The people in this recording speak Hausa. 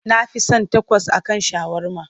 Na fi son takos a kan shawarma.